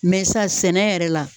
sa sɛnɛ yɛrɛ la